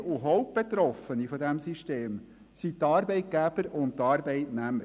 Träger und Hauptbetroffene dieses Systems sind die Arbeitgeber und die Arbeitnehmer.